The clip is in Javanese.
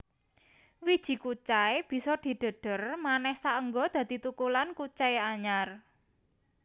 Wiji kucai bisa didhedher manéh saéngga dadi thukulan kucai anyar